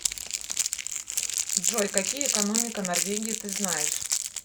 джой какие экономика норвегии ты знаешь